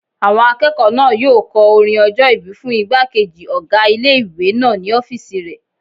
Àwọn akẹ́kọ̀ọ́ náà yóò kọ orin ọjọ́-ìbí fún ìgbàkejì ọgá ilé-ìwé náà ní ọ́fìsì rẹ̀